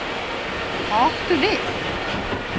Hvað áttu við?